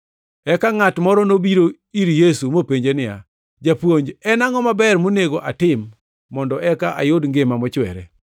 Eka ngʼat moro nobiro ir Yesu mopenje niya, “Japuonj, en angʼo maber monego atim mondo eka ayud ngima mochwere?”